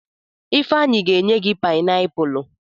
Ifeanyi ga enye gi painiapulu.